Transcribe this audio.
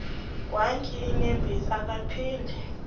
egwantyi iinyembezi akaphinde